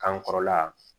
K'an kɔrɔla yan